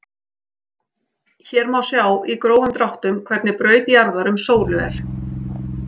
Hér má sjá í grófum dráttum hvernig braut jarðar um sólu er.